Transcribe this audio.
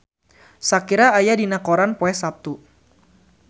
Shakira aya dina koran poe Saptu